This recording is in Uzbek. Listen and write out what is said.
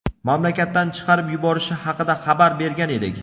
mamlakatdan chiqarib yuborishi haqida xabar bergan edik.